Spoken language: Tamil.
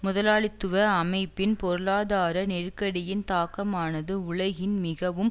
முதலாளித்துவ அமைப்பின் பொருளாதார நெருக்கடியின் தாக்கமானது உலகின் மிகவும்